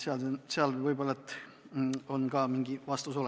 See ehk annab mingi vastuse.